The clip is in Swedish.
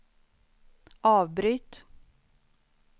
avbryt